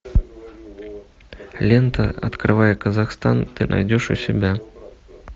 лента открывая казахстан ты найдешь у себя